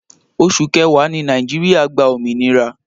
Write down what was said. Oṣù kẹwàá ni Nàìjíríà gba òmìnira